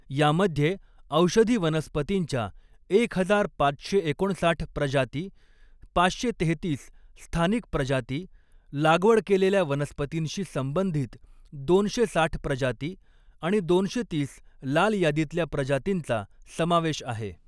यामध्ये औषधी वनस्पतींच्या एक हजार पाचशे एकोणसाठ प्रजाती, पाचशे तेहेतीस स्थानिक प्रजाती, लागवड केलेल्या वनस्पतींशी संबंधित दोनशे साठ प्रजाती आणि दोनशे तीस लाल यादीतल्या प्रजातींचा समावेश आहे.